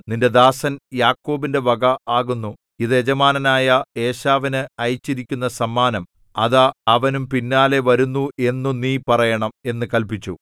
നിന്റെ ദാസൻ യാക്കോബിന്റെ വക ആകുന്നു ഇത് യജമാനനായ ഏശാവിന് അയച്ചിരിക്കുന്ന സമ്മാനം അതാ അവനും പിന്നാലെ വരുന്നു എന്നു നീ പറയണം എന്നു കല്പിച്ചു